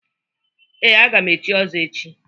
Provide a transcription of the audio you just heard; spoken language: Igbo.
Ee, aga m echi ọzọ echi.